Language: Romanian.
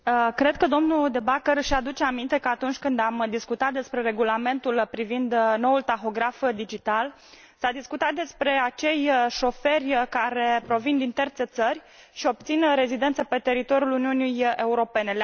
Cred că domnul De Backer își aduce aminte că, atunci când am discutat despre Regulamentul privind noul tahograf digital, s a discutat despre acei șoferi care provin din terțe țări și obțin rezidență pe teritoriul Uniunii Europene.